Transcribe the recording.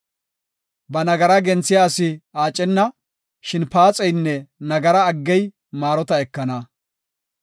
Ba nagaraa genthiya asi aacenna; shin paaxeynne nagara aggey maarota ekana.